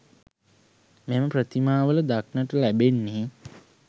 මෙම ප්‍රතිමාවල දක්නට ලැබෙන්නේ